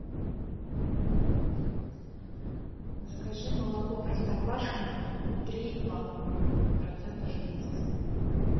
закажи молоко простоквашино три и два процента жирности